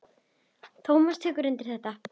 Tómas tekur undir þetta.